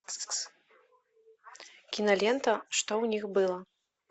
кинолента что в них было